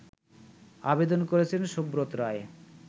আবেদন করেছেন সুব্রত রায়